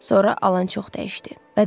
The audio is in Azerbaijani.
Sonra Alan çox dəyişdi.